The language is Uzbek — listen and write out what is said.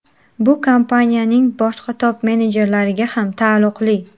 Bu kompaniyaning boshqa top-menejerlariga ham taalluqli.